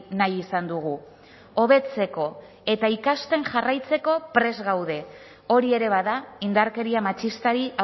nahi izan dugu hobetzeko eta ikasten jarraitzeko prest gaude hori ere bada indarkeria matxistari